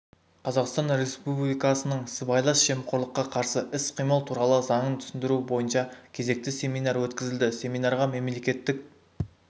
қазақстан республикасының сыбайлас жемқорлыққа қарсы іс-қимыл туралы заңын түсіндіру бойынша кезекті семинар өткізілді семинарға мемлекеттік